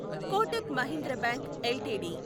Kotak Mahindra bank LTD